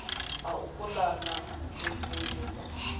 ha u pulana na sedzulusa